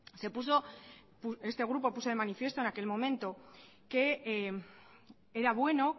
se puso este grupo puso de manifiesto en aquel momento que era bueno